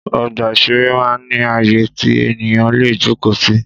Ọgbà ìṣeré máa ń ní àyè tí ènìyàn lè jókòó sí